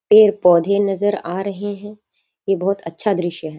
पेड़-पौधे नजर आ रहें हैं। ये बहुत अच्छा दृश्य है।